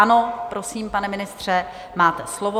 Ano, prosím, pane ministře, máte slovo.